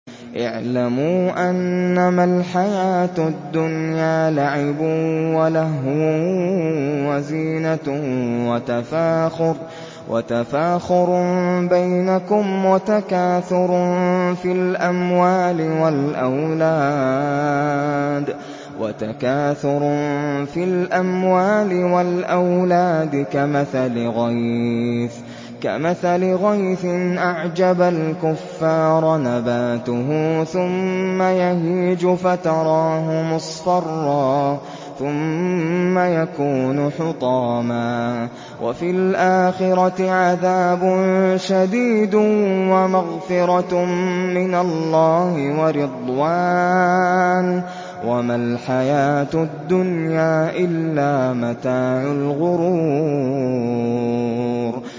اعْلَمُوا أَنَّمَا الْحَيَاةُ الدُّنْيَا لَعِبٌ وَلَهْوٌ وَزِينَةٌ وَتَفَاخُرٌ بَيْنَكُمْ وَتَكَاثُرٌ فِي الْأَمْوَالِ وَالْأَوْلَادِ ۖ كَمَثَلِ غَيْثٍ أَعْجَبَ الْكُفَّارَ نَبَاتُهُ ثُمَّ يَهِيجُ فَتَرَاهُ مُصْفَرًّا ثُمَّ يَكُونُ حُطَامًا ۖ وَفِي الْآخِرَةِ عَذَابٌ شَدِيدٌ وَمَغْفِرَةٌ مِّنَ اللَّهِ وَرِضْوَانٌ ۚ وَمَا الْحَيَاةُ الدُّنْيَا إِلَّا مَتَاعُ الْغُرُورِ